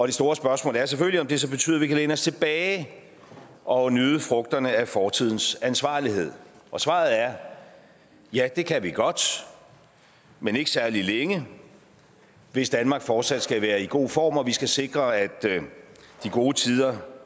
det store spørgsmål er selvfølgelig om det så betyder at vi kan læne os tilbage og nyde frugterne af fortidens ansvarlighed og svaret er ja det kan vi godt men ikke særlig længe hvis danmark fortsat skal være i god form og vi skal sikre at de gode tider